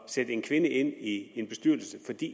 sætte en kvinde ind i en bestyrelse fordi